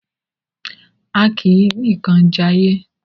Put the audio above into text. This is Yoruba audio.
A kì í nìkan jayé.